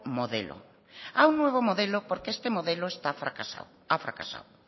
modelo a un nuevo modelo porque este modelo ha fracasado